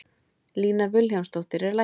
Lína Vilhjálmsdóttir er læknir.